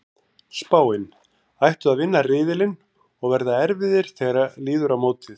Spáin: Ættu að vinna riðilinn og verða erfiðir þegar líður á mótið.